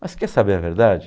Mas você quer saber a verdade?